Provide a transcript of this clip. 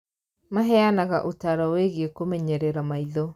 Maheanaga ũtaaro wĩgiĩ kũmenyerera maitho